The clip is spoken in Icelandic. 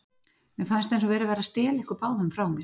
Mér fannst eins og verið væri að stela ykkur báðum frá mér.